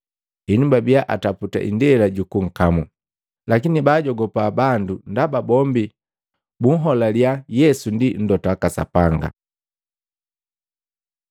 Henu babia ataputa indela jukunkamu, lakini baajogupa bandu ndaba bombi buholaliya Yesu ndi mlota waka Sapanga.